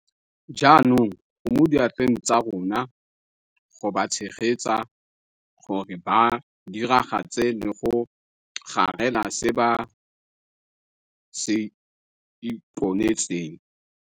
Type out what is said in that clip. Jaanong go mo diatleng tsa rona go ba tshegetsa gore ba diragatse le go garela se ba se iponetseng.